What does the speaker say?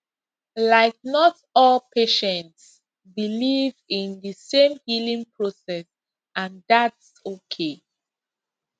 like not all patients believe in the same healing process and thats okay